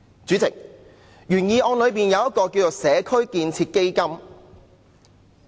主席，原議案建議設立一個"社區建設基金"。